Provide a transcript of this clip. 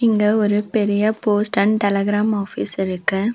இங்க ஒரு பெரிய போஸ்ட் அண்ட் டெலிகிராம் ஆஃபிஸ் இருக்கு.